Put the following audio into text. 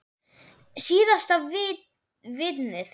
Síðasta vitnið.